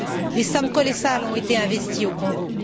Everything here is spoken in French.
Des sommes colossales ont été investies au Congo.